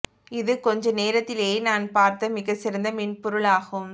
இது கொஞ்ச நேரத்திலேயே நான் பார்த்த மிகச் சிறந்த மென்பொருள் ஆகும்